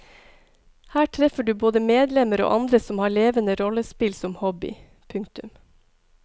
Her treffer du både medlemmer og andre som har levende rollespill som hobby. punktum